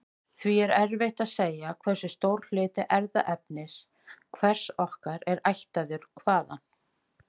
Því er erfitt að segja hversu stór hluti erfðaefnis hvers okkar er ættaður hvaðan.